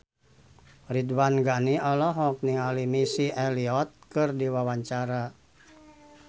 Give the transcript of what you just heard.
Ridwan Ghani olohok ningali Missy Elliott keur diwawancara